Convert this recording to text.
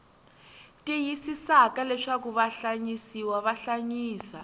tiyisisaka leswaku vahlayisiwa va hlayisa